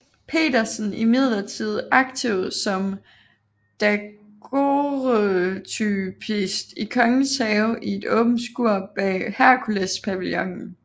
Petersen imidlertid aktiv som daguerreotypist i Kongens Have i et åbent skur bag Herkulespavillonen